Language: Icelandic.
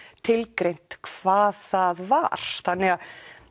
tilgreint hvað það var þannig að